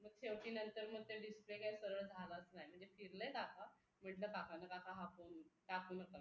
मग शेवटी नंतर मग ते display काय सरळ झालाच नाय म्हणजे चिडले काका म्हणलं काकांना काका हा फोन टाकू नका